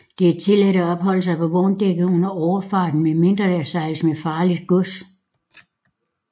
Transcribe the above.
Det er tilladt at opholde sig på vogndækket under overfart medmindre der sejles med farligt gods